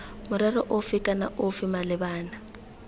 morero ofe kana ofe malebana